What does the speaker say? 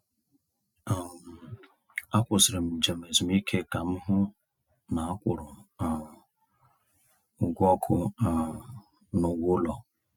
um Akwụsịrị m njem ezumike ka m hụ na a kwụrụ um ụgwọ ọkụ um na ụgwọ ụlọ.